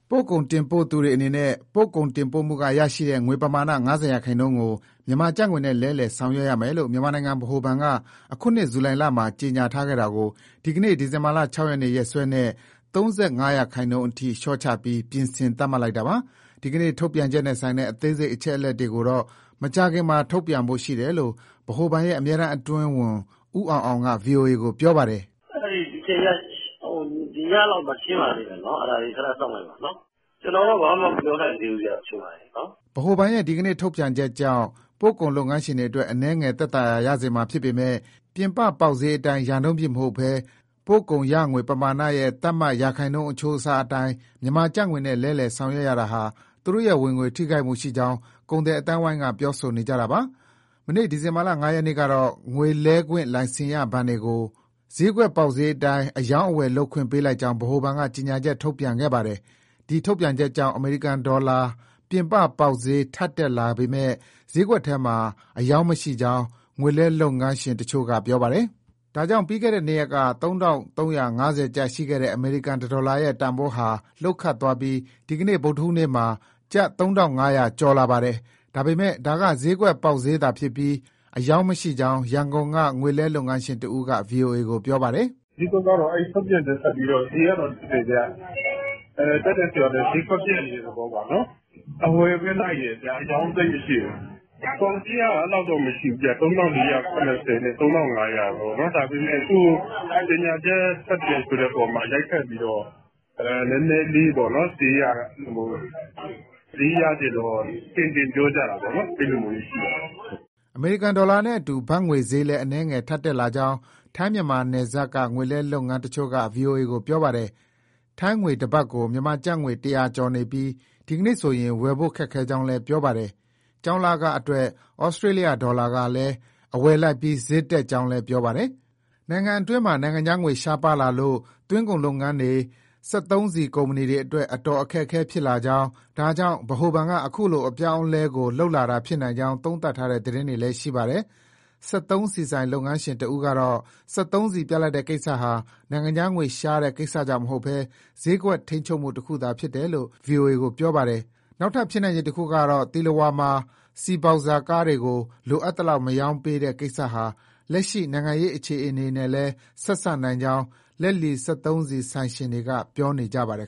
ပို့ကုန်တင်ပို့သူတွေအနေနဲ့ ပို့ကုန်တင်ပို့မှုကရရှိတဲ့ ငွေပမာဏ ၅၀ ရာခိုင်နှုန်းကို မြန်မာကျပ်ငွေနဲ့ လဲလှယ် ဆောင်ရွက်ရမယ်လို့ မြန်မာနိုင်ငံ ဗဟိုဘဏ်က အခုနှစ် ဇူလိုင်လမှာ ကြေညာထားခဲ့တာကို ဒီကနေ့ ဒီဇင်ဘာ ၆ ရက်နေ့ ရက်စွဲနဲ့ ပြင်ဆင် သတ်မှတ်လိုက်တာပါ။ ဒီကနေ့ ထုတ်ပြန်ချက်နဲ့ဆိုင်တဲ့ အသေးစိတ် အချက်အလက်တွေကိုတော့ မကြာခင်မှာ ထုတ်ပြန်ဖို့ရှိတယ်လို့ ဗဟိုဘဏ်ရဲ့ အမြဲတမ်းအတွင်းဝန် ဦးအောင်အောင်က ဗွီအိုအေကို ပြောပါတယ်။ " ဒီညလောက်မှာ (သတင်းမှာ) ရှင်းပါလိမ့်မယ်နော်။ အဲဒါလေး ခဏစောင့်လိုက်ပါ။ ကျနော်တော့ ဘာမှ မပြောနိုင်သေးဘူးဗျ အခုအချိန်မှာ နော်။" ဗဟိုဘဏ်ရဲ့ ဒီကနေ့ ထုတ်ပြန်ချက်ကြောင့် ပို့ကုန်လုပ်ငန်းရှင်တွေအတွက် အနည်းငယ် သက်သာရာရစေမှာဖြစ်ပေမယ့် ပြင်ပပေါက်ဈေးအတိုင်း ရာနှုန်းပြည့်မဟုတ်ဘဲ ပို့ကုန်ရငွေ ပမာဏရဲ့ သတ်မှတ် ရာခိုင်းနှုန်းအချိုးအစားအတိုင်း မြန်မာကျပ်ငွေနဲ့လဲလှယ် ဆောင်ရွက်ရတာဟာ သူတို့ရဲ့ ဝင်ငွေ ထိခိုက်မှုရှိကြောင်း ကုန်သည်အသိုင်းအဝိုင်းက ပြောဆိုနေကြတာပါ။ မနေ့ ဒီဇင်ဘာ ၅ ရက်နေ့ကတော့ ငွေလဲခွင့်လိုင်စင်ရ ဘဏ်တွေကိုတော့ စျေးကွက် ပေါက်စျေးအတိုင်း အရောင်းအဝယ်လုပ်ခွင့် ပေးလိုက်ကြောင်း ဗဟိုဘဏ်က ကြေညာချက် ထုတ်ပြန်ခဲ့ပါတယ်။ ဒီထုတ်ပြန်ကြောင့် အမေရိကန်ဒေါ်လာ ပြင်ပပေါက်စျေး ထပ်တက်လာပေမဲ့ စျေးကွက်ထဲမှာ အရောင်းမရှိကြောင်း ငွေလဲလုပ်ငန်းတချို့က ပြောပါတယ်။ ဒါကြောင့် ပြီးခဲ့တဲ့ နှစ်ရက်က ၃,၃၅၀ ကျပ် ရှိခဲ့တဲ့ အမေရိကန် တဒေါ်လာရဲ့ တန်ဖိုးဟာ လှုတ်ခတ်သွားပြီး ဒီနေ့ ဗုဒ္ဓဟူးနေ့မှာ ကျပ် ၃,၅၀၀ ကျော်လာပါတယ်။ ဒါပေမဲ့ ဒါက စျေးကွက် ပေါက်စျေးသာဖြစ်ပြီး အရောင်းမရှိကြောင်း ရန်ကုန်က ငွေလဲလုပ်ငန်းရှင်တဦးက ဗွီအိုအေကို ပြောပါတယ်။ "စျေးကွက်ကတော့ အဲထုတ်ပြန်ချက် ထွက်ပြီးတော့ တက်တယ်ဗျ၊ တက်တယ်ဆိုတာထက် စျေးကွက်ပျက်နေတယ် ဆိုတဲ့ သဘောပါနော်။ အဝယ်ပဲလိုက်နေတယ်၊ အရောင်းသိပ်မရှိဘူး။ ပေါက်စျေးက အဲလောက်မရှိဘူးဗျ ၃,၄၇၀ နဲ့ ၃,၅၀၀ ပေါ့။ ဒါပေမဲ့ ကြေညာချက်ထွက်တယ် ဆိုတဲ့အပေါ်မှာ ရိုက်ခတ်ပြီးတော့ နည်းနည်းလေး စျေးရချင်တော့ တင်တင်ပြောကြတာပေါ့ အဲလိုမျိုးရှိပါတယ်။" အမေရိကန်ဒေါ်လာနဲ့အတူ ဘတ်ငွေစျေးလည်း အနည်းငယ် ထပ်တက်လာကြောင်း ထိုင်း-မြန်မာ နယ်စပ်က ငွေလဲလုပ်ငန်းတချို့က ဗွီအိုအေကို ပြောပါတယ်။ ထိုင်းငွေ တဘတ်ကို မြန်မာငွေ ၁၀၀ ကျော်နေပြီး ဒီနေ့ဆိုရင် ဝယ်ဖို့ခက်ခဲကြောင်းလည်း ပြောပါတယ်။ ကျောင်းလခအတွက် ဩစတြေးလျ ဒေါ်လာလည်း အဝယ်လိုက်ပြီး စျေးတက်ကြောင်းလည်း ပြောပါတယ်။ နိုင်ငံတွင်းမှာ နိုင်ငံခြားငွေ ရှားပါလာလို့ သွင်းကုန်လုပ်ငန်းတွေ၊ စက်သုံးဆီကုမ္ပဏီတွေအတွက် အခက်အခဲဖြစ်လာကြောင်း၊ ဒါကြောင့် ဗဟိုဘဏ်က အခုလို အပြောင်းအလဲကို လုပ်တာဖြစ်နိုင်ကြောင်း သုံးသပ်ထားတဲ့ သတင်းတွေလည်း ရှိပါတယ်။ စက်သုံးဆီဆိုင် လုပ်ငန်းရှင် တဦးကတော့ စက်သုံးဆီပြတ်လပ်တဲ့ ကိစ္စဟာ နိုင်ငံခြားငွေရှားတဲ့ကိစ္စကြောင့်မဟုတ်ဘဲ စျေးကွက်ထိန်းချုပ်မှုတခုသာ ဖြစ်တယ်လို့ ဗွီအိုအေကို ပြောပါတယ်။ နောက်ထပ် ဖြစ်နိုင်ခြေတခုကတော့ သီလဝါမှာ ဆီဘောက်ဇာကားတွေကို လိုသလောက် မရောင်းပေးတဲ့ ကိစ္စဟာ လက်ရှိ နိုင်ငံရေး အခြေအနေနဲ့လည်း ဆက်စပ်နိုင်ကြောင်း လက်လီစက်သုံးဆီ ဆိုင်ရှင်တွေက ပြောနေကြပါတယ်